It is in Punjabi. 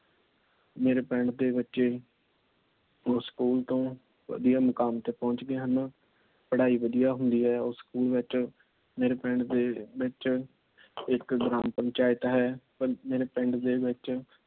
ਮੇਰੇ ਪਿੰਡ ਦੇ ਬਚੇ ਉਸ ਸਕੂਲ ਤੋਂ ਵਧੀਆ ਮੁਕਾਮ ਤੇ ਪਹੁੰਚ ਗਏ ਹਨ। ਪੜਾਈ ਵਧੀਆ ਹੁੰਦੀ ਏ ਉਸ ਸਕੂਲ ਵਿੱਚ। ਮੇਰੇ ਪਿੰਡ ਦੇ ਵਿੱਚ ਇੱਕ ਗ੍ਰਾਮ ਪੰਚਾਇਤ ਹੈ। ਮੇਰੇ ਪਿੰਡ ਦੇ ਵਿੱਚ